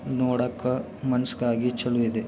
ನೋಡಕ್ಕ ಮನುಶ್ ಕಾಗಿ ಚಲು ಇದೆ.